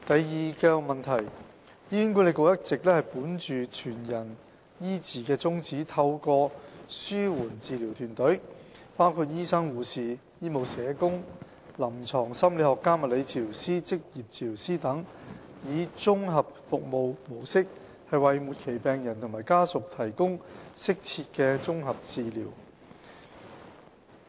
二醫管局一直本着"全人醫治"的宗旨，透過紓緩治療團隊，包括醫生、護士、醫務社工、臨床心理學家、物理治療師、職業治療師等，以綜合服務模式為末期病人和家屬提供適切的綜合紓緩治療。